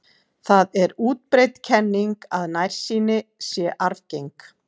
Það er útbreidd kenning að nærsýni sé arfgeng.